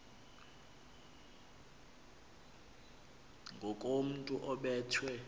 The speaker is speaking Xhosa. ngakomntu obe thwe